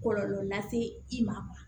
Kɔlɔlɔ lase i ma